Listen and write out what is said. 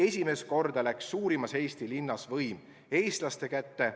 Esimest korda läks suurimas Eesti linnas võim eestlaste kätte.